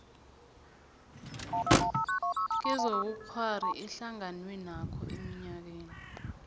kezobukghwari ehlanganwenakho eminyakeni